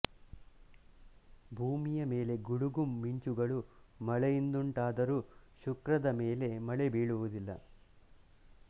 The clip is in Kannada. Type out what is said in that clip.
ಭೂಮಿಯ ಮೇಲೆ ಗುಡುಗು ಮಿಂಚುಗಳು ಮಳೆಯಿಂದುಂಟಾದರೂ ಶುಕ್ರದ ಮೇಲೆ ಮಳೆ ಬೀಳುವುದಿಲ್ಲ